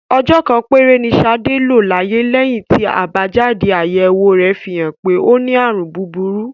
Ọjọ́ kan péré ni Ṣadé lò láyé lẹ́yìn tí àbájáde-àyẹ̀wò rẹ̀ fi hàn pé ó ní àrùn búburú.